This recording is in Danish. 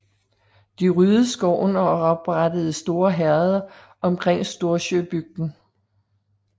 De ryddede skoven og oprettede store herreder omkring Storsjöbygden